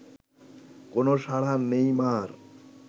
কোনও সাড়া নেই মা’র